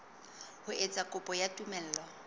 ho etsa kopo ya tumello